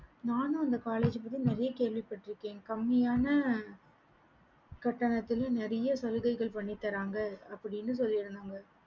நானும் அந்த college பத்தி நெறைய கேள்வி பட்ருக்கேன் கம்மியான கட்டனத்துல நிறைய சலுகைகள் பண்ணிதறாங்க அப்படின்னு சொல்லிருந்தாங்க